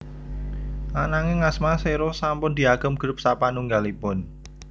Ananging asma Xero sampun diagem grup sapanunggalipun